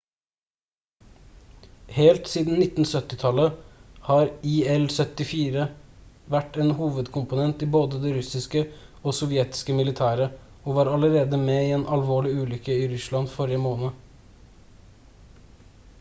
helt siden 1970-tallet har il-76 vært en hovedkomponent i både det russiske og sovjetiske militæret og var allerede med i en alvorlig ulykke i russland forrige måned